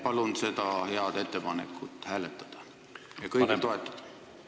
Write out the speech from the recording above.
Palun seda head ettepanekut hääletada ja kõigil toetada!